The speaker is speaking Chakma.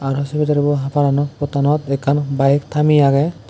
arw se bidirebo paranot portanot ekkan baek tamiye agey.